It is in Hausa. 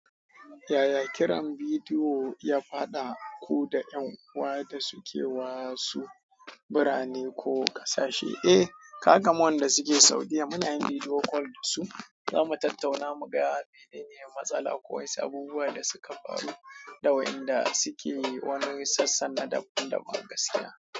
Yaya kiran bidiyo ya haɗa ku da ƴan uwa da suke wa su birane ko ƙasashe? Eh, ka gan wanda suke Saudiya muna yin video call da su, zamu tattauna mu gaya wa dainiya matsala ko wasu abubuwa da suka faru, dawain da suke wani sassan da daban daban gaskiya.